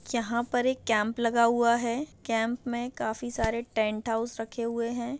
यहाँ पर एक कैम्प लगा हुआ है कैम्प मे काफी सारे टेंट हाउस रखे हुए है।